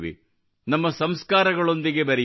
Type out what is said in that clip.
ನಮ್ಮ ಸಂಸ್ಕಾರಗಳೊಂದಿಗೆ ಬೆರೆಯುತ್ತೇವೆ